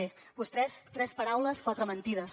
bé vostès tres paraules quatre mentides